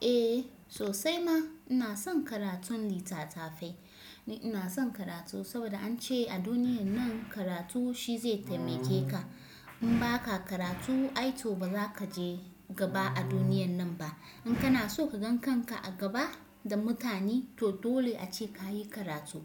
Eh sosai ma ina son karatun littattafai. Ina son karatu saboda an ce a duniyan nan karatu shi zai taimake ka. In ba ka karatu ai to ba za ka je gaba a duniyan nan ba. In kana so ka gan kanka a gaba da mutane to dole ace ka yi karatu.